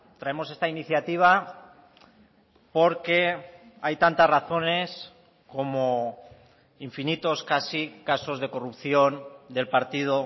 traemos esta iniciativa porque hay tantas razones como infinitos casi casos de corrupción del partido